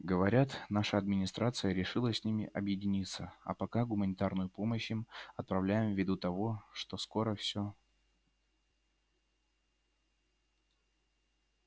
говорят наша администрация решила с ними объединяться а пока гуманитарную помощь им отправляем ввиду того что скоро все